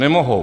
Nemohou.